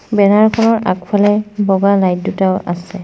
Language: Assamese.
বেনাৰ খনৰ আগফালে বগা লাইট দুটাও আছে।